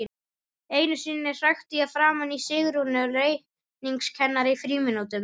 Einu sinni hrækti ég framan í Sigrúnu reikningskennara í frímínútum.